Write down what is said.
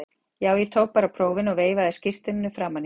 Já, ég tók bara prófin og veifaði skírteininu framan í hann.